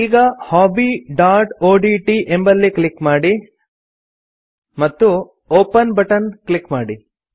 ಈಗ hobbyಒಡಿಟಿ ಎಂಬಲ್ಲಿ ಕ್ಲಿಕ್ ಮಾಡಿ ಮತ್ತು ಒಪೆನ್ ಬಟನ್ ಕ್ಲಿಕ್ ಮಾಡಿ